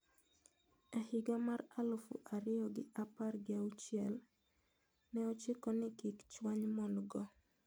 E higa mar aluf ariyo gi apar gi auchiel ne ochiko ni kik chwany mon-go.